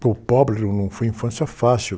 Para o pobre, não foi infância fácil.